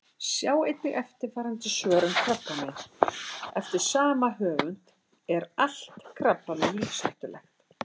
Sjá einnig eftirfarandi svör um krabbamein: Eftir sama höfund Er allt krabbamein lífshættulegt?